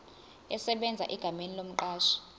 esebenza egameni lomqashi